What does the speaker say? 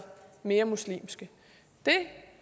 mere muslimske jeg